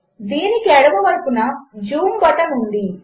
దీనికిఎడమవైపున జూంబటన్ఉంది